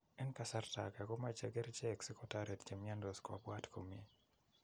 En kasarta ge komoche kerichek si kotoret che miondos kopwat komie.